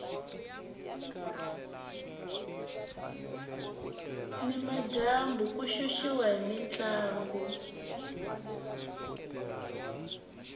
ni madyambu ku xuxiwa hi mintlangu